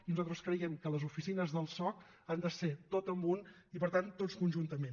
i nosaltres creiem que les oficines del soc han de ser tot en un i per tant tots conjuntament